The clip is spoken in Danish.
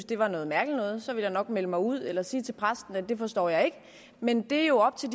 det var noget mærkeligt noget så ville jeg nok melde mig ud eller sige til præsten at det forstår jeg ikke men det er jo op til